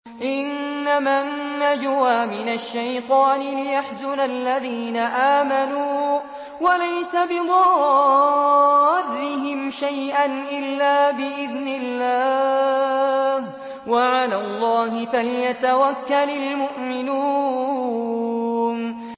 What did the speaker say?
إِنَّمَا النَّجْوَىٰ مِنَ الشَّيْطَانِ لِيَحْزُنَ الَّذِينَ آمَنُوا وَلَيْسَ بِضَارِّهِمْ شَيْئًا إِلَّا بِإِذْنِ اللَّهِ ۚ وَعَلَى اللَّهِ فَلْيَتَوَكَّلِ الْمُؤْمِنُونَ